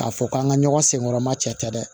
K'a fɔ k'an ka ɲɔgɔn sɛgɛnma cɛ tɛ dɛ